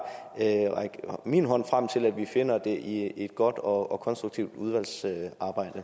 række min hånd frem til at vi finder den i et godt og konstruktivt udvalgsarbejde